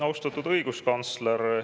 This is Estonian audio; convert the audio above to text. Austatud õiguskantsler!